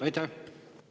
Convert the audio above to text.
Aitäh!